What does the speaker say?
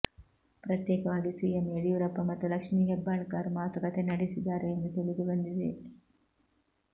ಪ್ರತ್ಯೇಕವಾಗಿ ಸಿಎಂ ಯಡಿಯೂರಪ್ಪ ಮತ್ತು ಲಕ್ಷ್ಮಿ ಹೆಬ್ಬಾಳ್ಕರ್ ಮಾತುಕತೆ ನಡೆಸಿದ್ದಾರೆ ಎಂದು ತಿಳಿದುಬಂದಿದೆ